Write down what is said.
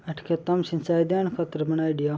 अठ खेता मे सिंचाई देन खातर बनायेड़ी है या।